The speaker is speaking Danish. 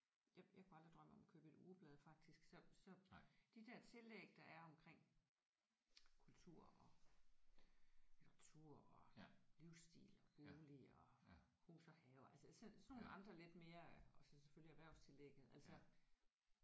Jeg jeg kunne aldrig drømme om at købe et ugeblad faktisk så så de der tillæg der er omkring kultur og litteratur og livsstil og bolig og hus og have altså sådan nogle andre lidt mere og så selvfølgelig erhvervstillægget altså